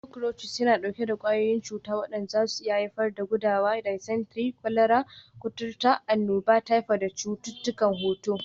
Cockroaches yana ɗauke da ƙwayoyin cuta waɗanda zasu iya haifar da gudawa, dysentery, kwalara, kuturta, annoba, typhoid da cututtukan hoto.